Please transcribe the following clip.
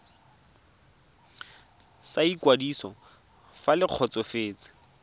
sa ikwadiso fa le kgotsofetse